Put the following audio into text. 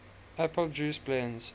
apple juice blends